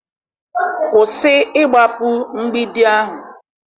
kwụsị ịgbapu mgbidi ahu!